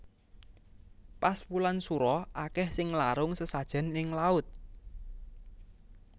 Pas wulan sura akeh sing nglarung sesajen ning laut